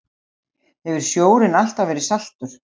Hefur sjórinn alltaf verið saltur?